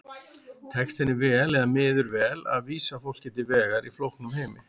Tekst henni vel eða miður vel að vísa fólki til vegar í flóknum heimi?